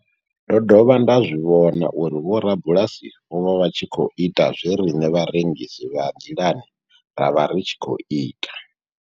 Ndo dovha nda zwi vhona uri vhorabulasi vho vha vha tshi khou ita zwe riṋe vharengisi vha nḓilani ra vha ri tshi khou ita.